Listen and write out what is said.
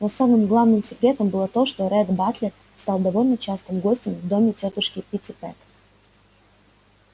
но самым главным секретом было то что ретт батлер стал довольно частым гостем в доме тётушки питтипэт